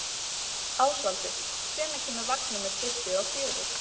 Ásvaldur, hvenær kemur vagn númer tuttugu og fjögur?